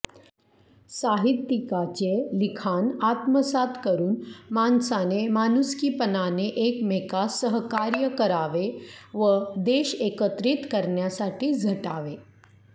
साहित्यिकाचे लिखाण आत्मसात करुन माणसाने माणुसकीपणाने एकमेकास सहकार्य करावे व देश एकत्रित करण्यासाठी झटावे